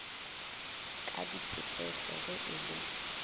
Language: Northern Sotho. ka diphusese ge e le